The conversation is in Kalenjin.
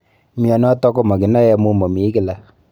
Mionito ko makinae amu momii kila.